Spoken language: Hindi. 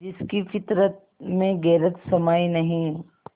जिसकी फितरत में गैरत समाई नहीं